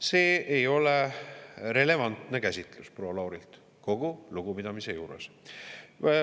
See ei ole relevantne käsitlus, proua Lauri, kogu lugupidamise juures.